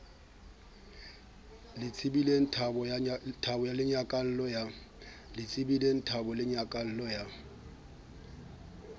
le tsebilengthabo le nyakallo ya